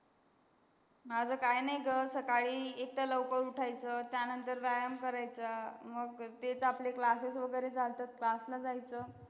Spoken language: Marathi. माझं काही नाही ग सकाळी एक तर लवकर उठायचं, त्यानंतर व्यायाम करायचा मग तेच आपले classes वगैरे जात असतात. class ला जायचं.